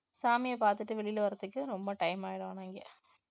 சாமியை பார்த்துட்டு வெளியில வர்றதுக்கு ரொம்ப time ஆயிடும் ஆனா இங்க